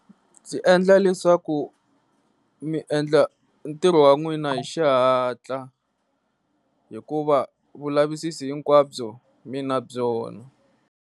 Byi endla leswaku mi endla ntirho wan'wina hi xihatla hikuva vu lavisisi hinkwabyo mi na byona.